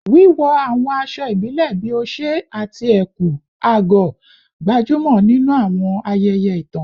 Wíwọ àwọn aṣọ ìbílẹ̀ bíi oṣé àti ẹ̀kú/àgọ̀, gbajúmọ̀ nínú àwọn ayẹyẹ ìtàn.